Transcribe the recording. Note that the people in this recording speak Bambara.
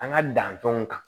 An ka dantanw kan